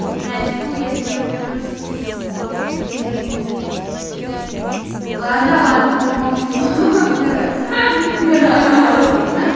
не очкуй я с ним разберусь когда-нибудь вот ладно ладно промолчу пидорас ха-ха